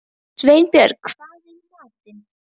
Sveinbjörg, hvað er í matinn?